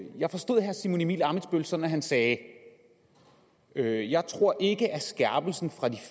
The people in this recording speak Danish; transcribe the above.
jeg forstod herre simon emil ammitzbøll sådan at han sagde jeg jeg tror ikke at skærpelsen fra de